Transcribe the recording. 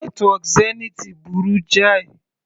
Nẹ́tíwọ́kì Zenith burú jáì.